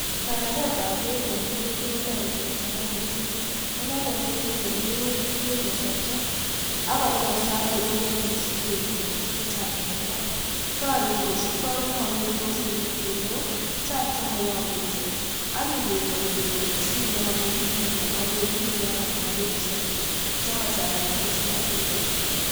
Kanagetab beek kotoretii kochangaa missing nenotoon koribe minutiik tugul kosobcho ak kolelesan, kokororonekitun en imbaar. Kosiibge ak nemomeitos ak sobtoos oleo, chang chemoyomdos ak ingeboi koik chi nekomine neinokoo beek chema, chechang anan ko chemotuten